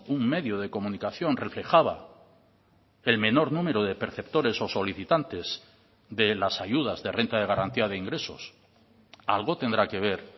un medio de comunicación reflejaba el menor número de perceptores o solicitantes de las ayudas de renta de garantía de ingresos algo tendrá que ver